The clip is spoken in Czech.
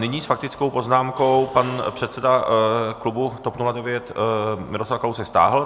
Nyní s faktickou poznámkou pan předseda klubu TOP 09 Miroslav Kalousek - stáhl.